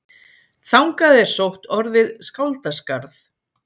Þangað er sótt orðið skáldaskarð.